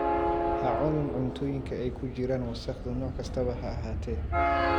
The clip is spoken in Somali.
Ha cunin cuntooyinka ay ku jiraan wasakhdu nooc kastaba ha ahaatee.